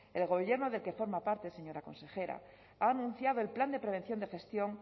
el gobierno del que forma parte señora consejera ha anunciado el plan de prevención de gestión